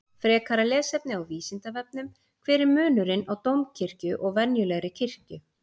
Frekara lesefni á Vísindavefnum: Hver er munurinn á dómkirkju og venjulegri kirkju?